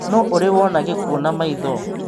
Nũ ũrĩ wona gĩkuo na maitho?